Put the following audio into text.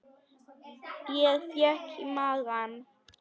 Ég fékk í magann.